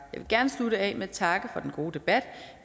vil gerne slutte af med at takke for den gode debat